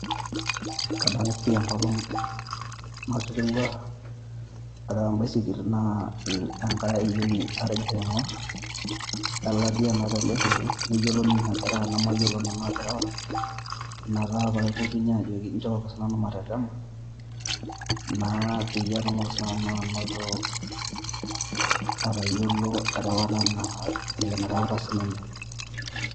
Kadamu pii enkolong' naterewua areu embaisikil naa enkai ayioni atigire aing'orr, elatia naata embaisikil, neyiolo ninye aterewa namayiolo nanu aterewa, ina taa aipotunye ajoki nchooki sinanu matetema peyie atumoki sinanu anoto atayiolo erewata naa vile enareuta sininye